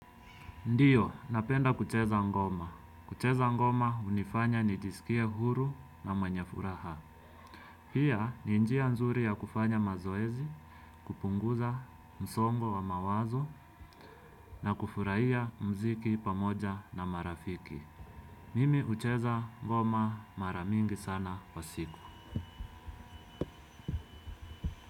Ndiyo, napenda kucheza ngoma kucheza ngoma hunifanya nijisikie huru na mwenye furaha pia ni njia nzuri ya kufanya mazoezi, kupunguza msongo wa mawazo na kufurahia muziki pamoja na marafiki. Mimi hucheza ngoma mara mingi sana kwa siku.